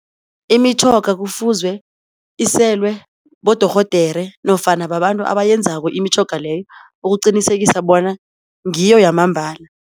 Imitjhoga kufuzwe iselwe bodorhodere nofana babantu abayenzako imitjhoga leyo ukuqinisekisa bona ngiyo yamambala.